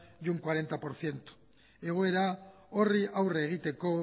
y un cuarenta por ciento egoera horri aurre egiteko